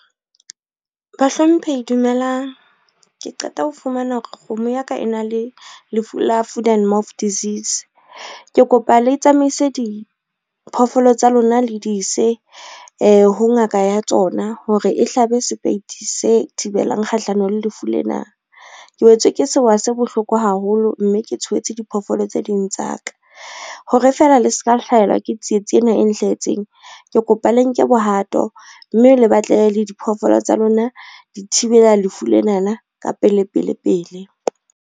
Bahlomphehi dumelang. Ke qeta ho fumana hore kgomo ya ka e na le lefu la foot and mouth disease, ke kopa le tsamaise diphoofolo tsa lona le di ise ho ngaka ya tsona hore e hlabe sepeiti se thibelang kgahlano le lefu lena. Ke wetswe ke sewa se bohloko haholo, mme ke tshohetse diphoofolo tse ding tsa ka, hore fela le se ka hlahelwa ke tsietsi ena e nhlahetseng ke kopa le nke bohato mme le batlele le diphoofolo tsa lona di thibela lefu lenana ka pelepele pele.